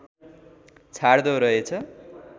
छाड्दो रहेछ